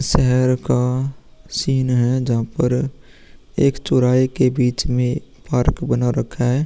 इस शहर का सीन है। जहां पर एक चौराहे के बीच में पार्क बना रखा है।